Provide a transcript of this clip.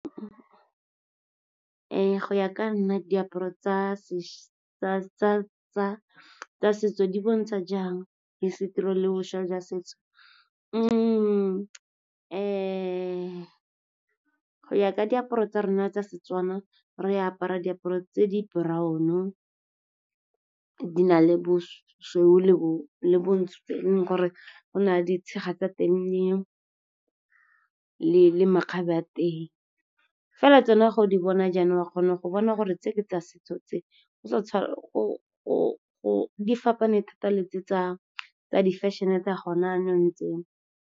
Ee, go ya ka nna, diaparo tsa setso di bontsha jang hisitori le boswa jwa setso. Go ya ka diaparo tsa rona tsa seTswana, re apara diaparo tse di brown-o, di na le bosweu le bontsho. Go na le ditshega tsa teng le makgabe a teng, fela tsona ga o di bona jaana, wa kgona go bona gore tse ke tsa setso tse, di fapane thata le tse tsa di-fashion-e tsa gona yanong tse.